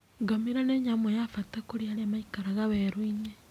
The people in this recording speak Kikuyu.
Ngamĩra nĩ nyamũ ya bata kũrĩ arĩa maikaraga werũ-inĩ.